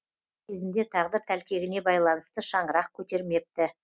кезінде тағдыр тәлкегіне байланысты шаңырақ көтермепті